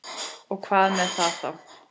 Og hvað með það þá?